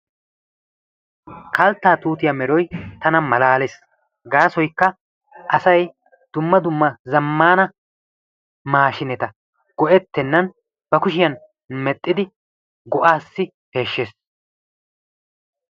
Kalttaa tuutiyaa meroy tana keehin malalees. gasoykka asay dumma dumma zammaana maashineta go"ettenan bakushshiyaan mexxidi go"aasi peeshshees.